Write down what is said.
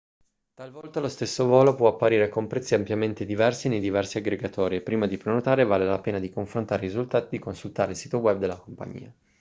talvolta lo stesso volo può apparire con prezzi ampiamente diversi nei diversi aggregatori e prima di prenotare vale la pena di confrontare i risultati e di consultare il sito web della compagnia